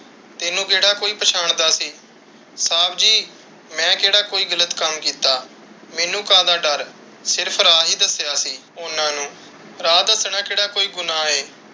ਤੈਨੂੰ ਕਿਹੜਾ ਕੋਈ ਪਛਾਣ ਦਾ ਸੀ। ਸਾਬ ਜੀ ਮੈਂ ਕਿਹੜਾ ਕੋਈ ਗ਼ਲਤ ਕੱਮ ਕਿੱਤਾ? ਮੈਨੂੰ ਕਾਹਦਾ ਡੱਰ? ਮੈਂ ਸਿਰਫ਼ ਰਾਹ ਹੀ ਦੱਸਿਆ ਸੀ ਉਹਨਾਂ ਨੂੰ। ਰਾਹ ਦੱਸਣਾ ਕਿਹੜਾ ਕੋਈ ਗੁਨਾਹ ਹੈ।